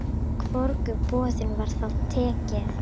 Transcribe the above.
Hvorugu boðinu var þá tekið.